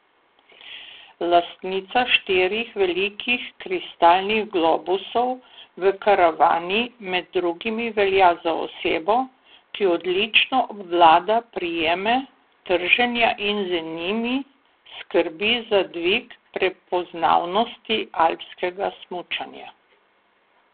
Lastnica štirih velikih kristalnih globusov v karavani med drugim velja za osebo, ki odlično obvlada prijeme trženja in z njimi skrbi za dvig prepoznavnosti alpskega smučanja.